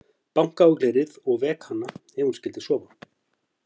Banka á glerið og vek hana ef hún skyldi sofa.